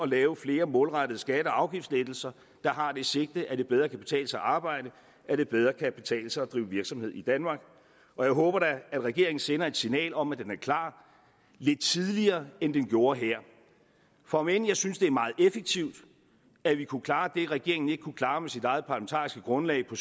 lave flere målrettede skatte og afgiftslettelser der har det sigte at det bedre kan betale sig at arbejde at det bedre kan betale sig at drive virksomhed i danmark jeg håber da at regeringen sender et signal om at den er klar lidt tidligere end den gjorde her for om end jeg synes det er meget effektivt at vi kunne klare det regeringen ikke kunne klare med sit eget parlamentariske grundlag på